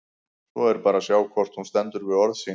Svo er bara að sjá hvort hún stendur við orð sín!